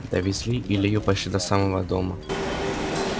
довезли илью почти до самого дома